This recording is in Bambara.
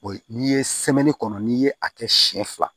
O ye n'i ye kɔnɔ n'i ye a kɛ siɲɛ fila